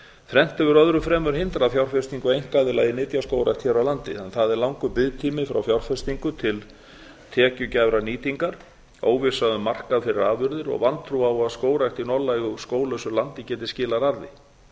þrennt hefur öðru fremur hindrað fjárfestingu einkaaðila í nytjaskógrækt hér á landi a langur biðtími frá fjárfestingu til tekjugæfrar nýtingar b óvissa um markað fyrir afurðir og c vantrú á að skógrækt í norðlægu skóglausu landi geti skilað arði